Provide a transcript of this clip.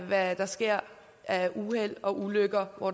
hvad der sker af uheld og ulykker hvor